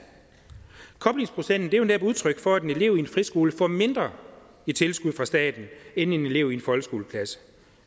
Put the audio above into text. koblingsprocenten er jo netop udtryk for at en elev i en friskole får mindre i tilskud fra staten end en elev i en folkeskoleklasse